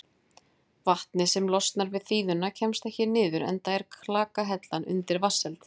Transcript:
Vatnið sem losnar við þíðuna kemst ekki niður enda er klakahellan undir vatnsheld.